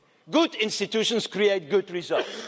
Good institutions create good results.